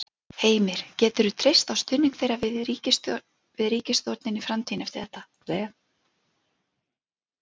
Heimir: Geturðu treyst á stuðning þeirra við ríkisstjórnin í framtíðinni eftir þetta?